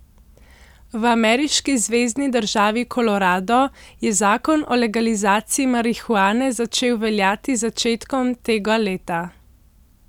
V ameriški zvezni državi Kolorado je zakon o legalizaciji marihuane začel veljati z začetkom tega leta.